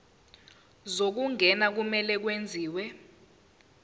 zokungena kumele kwenziwe